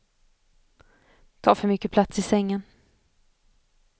Tar för mycket plats i sängen.